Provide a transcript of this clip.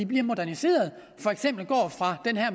bliver moderniseret